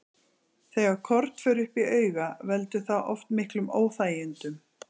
Þegar korn fer upp í auga, veldur það oft miklum óþægindum.